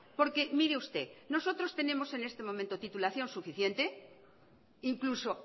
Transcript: porque mire usted nosotros tenemos en este momento titulación suficiente e incluso